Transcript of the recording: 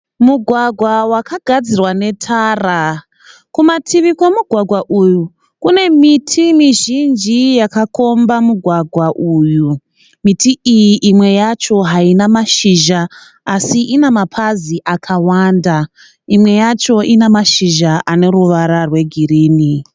Mugwagwa wakagadzirwa netara. Kumativi kwemugwagwa uyu kune miti mizhinji yaka komba mugwagwa uyu. Miti iyi imwe yacho haina mashizha así ina mapazi akawanda. Imwe yacho ina mashizha ane ruvara rwe girinhi.